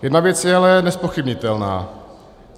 Jedna věc je ale nezpochybnitelná.